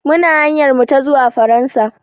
Muna hanyar mu ta zuwa Faransa.